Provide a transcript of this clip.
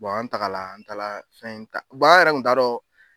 Bɔn an tagala an taala fɛn ta bɔn an yɛrɛ kun t'a dɔn